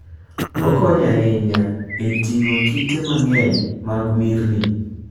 Okonyo ahinya e ting'o kite mang'eny mag mirni.